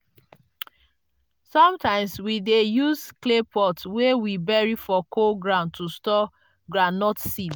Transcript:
sometimes we dey use clay pot wey we bury for cool ground to store groundnut seed.